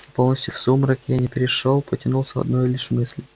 полностью в сумрак я не перешёл потянулся одной лишь мыслью